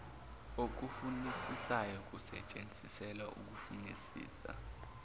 okufunisisayo kusetshenziselwa ukufunisisa